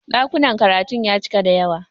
Ɗakunan karatun ya cika da yawa.